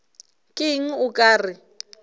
ke eng o ka re